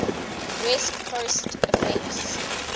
west coast offense